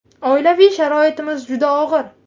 Oilaviy sharoitimiz juda og‘ir.